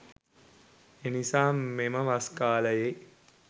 එනිසා මෙම වස් කාලයේ